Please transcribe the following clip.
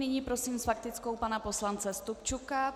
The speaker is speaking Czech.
Nyní prosím s faktickou pana poslance Stupčuka.